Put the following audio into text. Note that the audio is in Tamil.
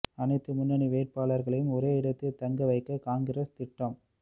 அனைத்து முன்னணி வேட்பாளர்களையும் ஒரே இடத்தில் தங்க வைக்க காங்கிரஸ் திட்டம்